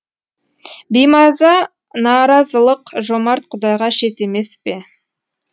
беймаза наразылық жомарт құдайға шет емес пе